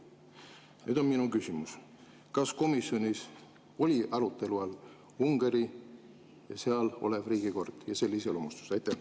Nüüd on minu küsimus: kas komisjonis oli arutelu all Ungari, seal olev riigikord ja selle iseloomustus?